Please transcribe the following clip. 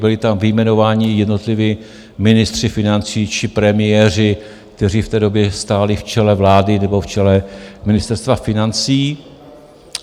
Byli tam vyjmenováni jednotliví ministři financí či premiéři, kteří v té době stáli v čele vlády nebo v čele Ministerstva financí.